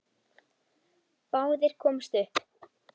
Báðir komust upp.